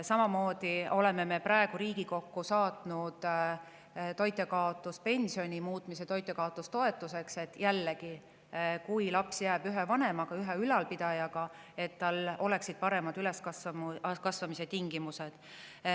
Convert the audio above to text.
Samamoodi oleme Riigikokku saatnud, et muuta toitjakaotuspension toitjakaotustoetuseks: jällegi selleks, et kui laps jääb ühe vanemaga, ühe ülalpidajaga, siis tal oleksid paremad üleskasvamise tingimused.